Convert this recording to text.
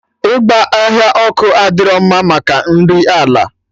Ịgba ọhịa ọkụ adịro mma maka nri ala